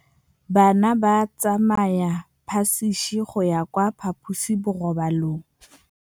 Bana ba tsamaya ka phašitshe go ya kwa phaposiborobalong.